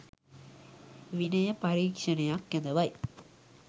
විනය පරික්ෂණයක් කැදවයි.